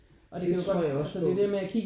Det tror jeg også på